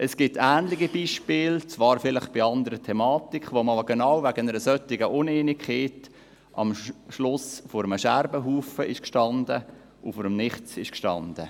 Es gibt ähnliche Beispiele, die zwar vielleicht eine andere Thematik betreffen und wo man genau wegen einer solchen Uneinigkeit am Ende vor einem Scherbenhaufen oder vor dem Nichts stand.